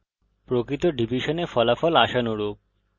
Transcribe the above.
প্রকৃত ডিভিশনে ফলাফল আশানুরূপ